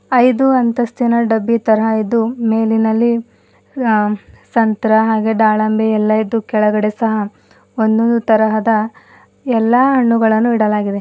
ಐದು ಅಂತಸ್ತಿನ ಡಬ್ಬಿ ತರ ಇದು ಮೇಲಿನಲ್ಲಿ ಅ ಸಂತರ ಹಾಗೆ ಡಾಳಂಬಿ ಎಲ್ಲಾ ಇದು ಕೆಳಗಡೆ ಸಹ ಒಂದು ತರಹದ ಎಲ್ಲಾ ಹಣ್ಣುಗಳನ್ನು ಇಡಲಾಗಿದೆ.